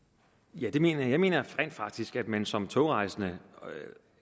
ja det mener jeg jeg mener rent faktisk at man som togrejsende